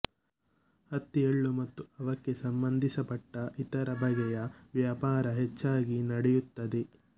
ಹತ್ತಿ ಎಳ್ಳು ಮತ್ತು ಅವಕ್ಕೆ ಸಂಬಂಧಪಟ್ಟ ಇತರ ಬಗೆಯ ವ್ಯಾಪಾರ ಹೆಚ್ಚಾಗಿ ನಡೆಯುತ್ತದೆ